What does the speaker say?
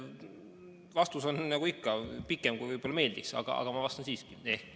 Vastus on nagu ikka pikem, kui võib-olla meeldiks, aga ma vastan siiski.